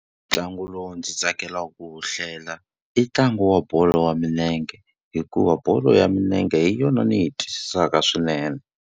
Ntlangu lowu ndzi tsakelaka ku wu hlela i ntlangu wa bolo ya milenge, hikuva bolo ya milenge hi yona ni yi twisisaka swinene.